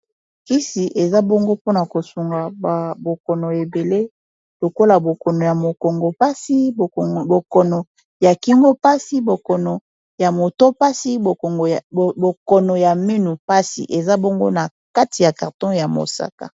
kisi eza bongo mpona kosunga babokono ebele lokola bokono ya mokongo pasi bokono ya kingo pasi bokono ya moto pasi bokono ya minu passi eza bongo na kati ya karton ya mosaka